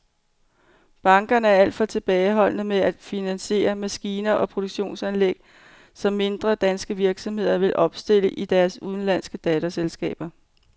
Bankerne er alt for tilbageholdende med at finansiere maskiner og produktionsanlæg, som mindre danske virksomheder vil opstille i deres udenlandske datterselskaber.